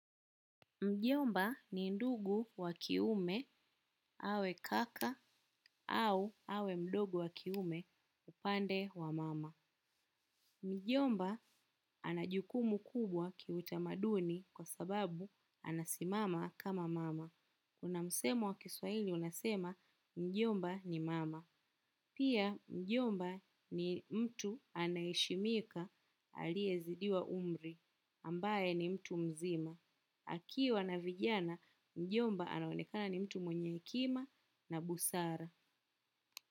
Mjomba ni ndugu wa kiume awe kaka au awe ndugu wa kiume kwa upande wa mama. Mjomba ana jukumu kubwa kiutamaduni kwa sababu anasimama kama mama. Kuna msemo wa kiswahili unasema mjomba ni mama. Pia mjomba ni mtu anaheshimika aliyezidiwa umri, ambaye ni mtu mzima. Akiwa na vijana, mjomba anaonekana ni mtu mwenye hekima na busara.